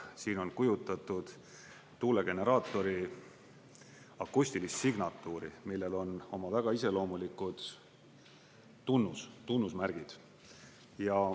Siin on kujutatud tuulegeneraatori akustilist signatuuri, millel on oma väga iseloomulikud tunnusmärgid.